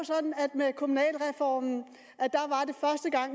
med kommunalreformen